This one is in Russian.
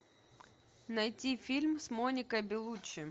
найти фильм с моникой белуччи